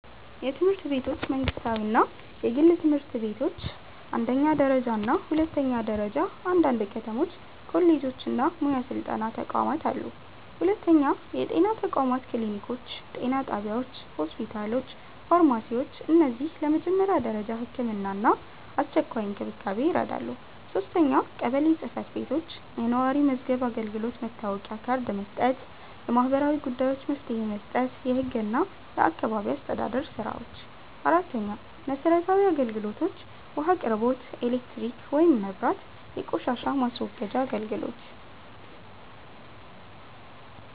የትምህርት ቤቶች መንግስታዊ እና የግል ትምህርት ቤቶች አንደኛ ደረጃ እና ሁለተኛ ደረጃ አንዳንድ ከተሞች ኮሌጆች እና ሙያ ስልጠና ተቋማት አሉ 2. የጤና ተቋማት ክሊኒኮች ጤና ጣቢያዎች ሆስፒታሎች ፋርማሲዎች እነዚህ ለመጀመሪያ ደረጃ ሕክምና እና አስቸኳይ እንክብካቤ ይረዳሉ 3. ቀበሌ ጽ/ቤቶች የነዋሪ መዝገብ አገልግሎት መታወቂያ ካርድ መስጠት የማህበራዊ ጉዳዮች መፍትሄ መስጠት የህግ እና የአካባቢ አስተዳደር ስራዎች 4. መሰረታዊ አገልግሎቶች ውሃ አቅርቦት ኤሌክትሪክ (መብራት) የቆሻሻ ማስወገጃ አገልግሎት